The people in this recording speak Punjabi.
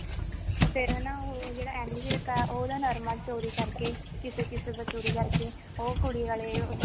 ਫਿਰ ਹਨਾ ਉਹ ਜਿਹੜਾ ਐਮੀ ਵਿਰਕ ਆ ਉਹ ਉਹਦਾ ਨਰਮਾ ਚੋਰੀ ਕਰਕੇ ਕਿਸੇ ਕਿਸੇ ਦਾ ਚੋਰੀ ਕਰਕੇ ਉਹ ਕੁੜੀ ਆਲੇ